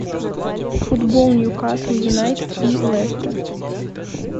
футбол ньюкасл юнайтед и лестер